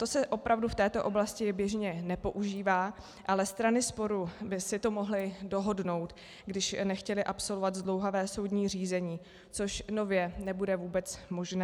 To se opravdu v této oblasti běžně nepoužívá, ale strany sporu by si to mohly dohodnout, když nechtěly absolvovat zdlouhavé soudní řízení, což nově nebude vůbec možné.